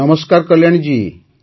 ନମସ୍କାର କଲ୍ୟାଣୀ ଜୀ